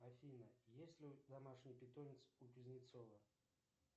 афина есть ли домашний питомец у кузнецова